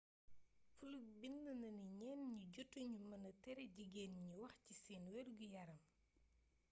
fluke bind na ni ñenn ñi jotu ñu mëna tere jigeen ñi wax ci seen wergu-yaram